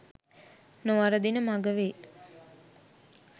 නොවරදින මග වේ